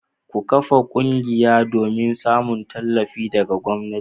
Ku kafa ƙungiya domin samun tallafi daga gwamnati.